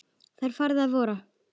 Það var farið að vora.